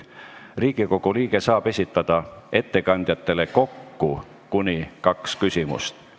Riigikogu liige saab ettekandjatele kokku esitada kuni kaks küsimust.